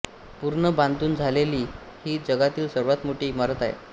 पूर्ण बांधून झालेली ही जगातील सर्वांत मोठी इमारत होती